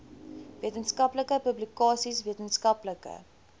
wetenskaplike publikasies wetenskaplike